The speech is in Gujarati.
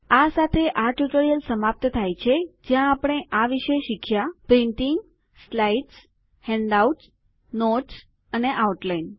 આ સાથે આ ટ્યુટોરીયલ સમાપ્ત થાય છે જ્યાં આપણે આ વિષે શીખ્યા પ્રિન્ટીંગ સ્લાઇડ્સ હેન્ડઆઉટ નોટ્સ અને આઉટલાઈન